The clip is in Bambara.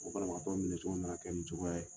O banabagatɔ minɛ cogo mana kɛ ni cogoya ye.